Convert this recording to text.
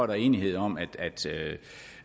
der er enighed om at